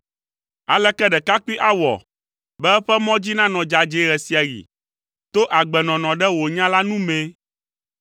Aleke ɖekakpui awɔ, be eƒe mɔ dzi nanɔ dzadzɛe ɣe sia ɣi? To agbenɔnɔ ɖe wò nya la nu mee.